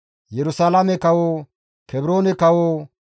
Yerusalaame kawo, Kebroone kawo,